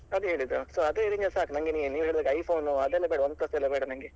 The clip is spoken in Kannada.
ಅದೇ ಹೇಳಿದ್ದು so ಅದೇ range ಸಾಕ್ ನಂಗೆ ನೀವ್ ಹೇಳದಾಗೆ iPhone ಅದೆಲ್ಲ ಬೇಡ OnePlus ಎಲ್ಲ ಬೇಡ ನಂಗೆ.